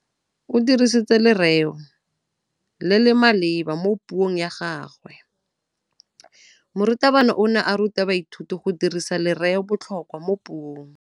O dirisitse lerêo le le maleba mo puông ya gagwe. Morutabana o ne a ruta baithuti go dirisa lêrêôbotlhôkwa mo puong.